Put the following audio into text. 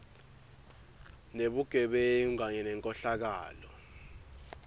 nebugebengu kanye nenkhohlakalo